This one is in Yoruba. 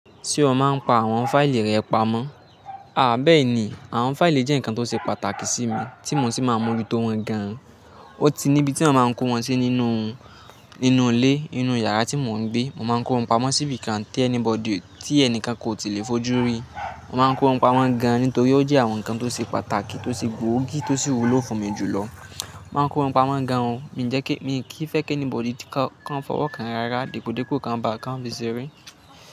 Ṣé o máa ń pa àwọn fáìlì rẹ pamọ́? Àhh bẹ́ẹ̀ni, àwọn fáìlì jẹ́ nǹkan tó ṣe pàtàkì sí mi tí mo sì máa ń mójú tó wọn gan-an. Ó ti níbi tí mo máa ń kó wọn sí nínú, nínú ilé, inú yàrá tí mò ń gbé. Mo máa ń kó wọn pamọ́ sí ibi kan tí anybody, tí ẹni kankan kò tí lè fojú rí. Mo máa ń kó wọn pamọ́ gan-an nítorí ó jẹ́ àwọn nǹkan tó ṣe pàtàkì tó ṣe gbòógì tó sì wúlò fún mi jùlọ. Mo máa ń kó wọn pamọ́ gan-an, mi jẹ́ kí, mi kì í fẹ́ kí anybody tí kan, kí wọ́n fi ọwọ́ kan rárá, dìpódìpó kí wọ́n bà, kí wọ́n fi ṣe eré.